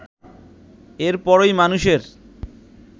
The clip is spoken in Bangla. এর পরই মানুষের